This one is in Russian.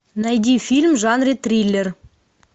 найди фильм в жанре триллер